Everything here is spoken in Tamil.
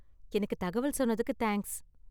எனக்கு தகவல் சொன்னதுக்கு தேங்க்ஸ்.